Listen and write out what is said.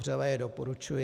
Vřele je doporučuji.